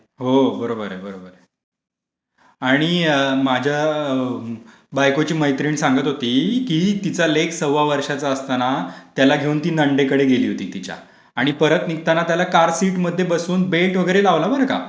हो, बरोबर आहे, बरोबर आहे. आणि माझ्या बायकोची मैत्रीण सांगत होती, की तिचं लेक सव्वा वर्षाचा असताना त्याला घेऊन ती नणंदेकडे गेली होती तिच्या आणि परत निघताना त्याला कार सीट मध्ये बसवून बेल्ट वगैरे लावला बरं का.